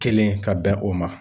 Kelen ka bɛn o ma